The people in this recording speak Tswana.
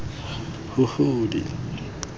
huhudi